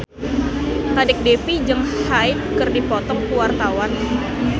Kadek Devi jeung Hyde keur dipoto ku wartawan